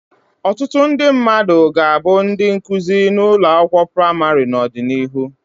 Ọtụtụ ndị mmadụ ga-abụ ndị nkuzi na ụlọ akwụkwọ praịmarị n'ọdịnihu.